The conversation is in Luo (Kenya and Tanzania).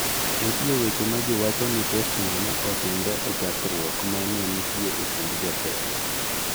Nitie weche ma ji wacho ni postno ne otimre e chokruok ma ne nitie e kind jotelo.